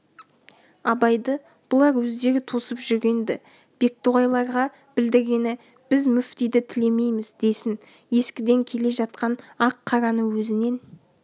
абайды бұлар өздері тосып жүрген-ді бектоғайларға білдіргені біз мүфтиді тілемейміз десін ескіден келе жатқан ақ-қараны өзінен